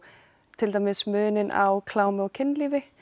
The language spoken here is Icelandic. til dæmis muninn á klámi og kynlífi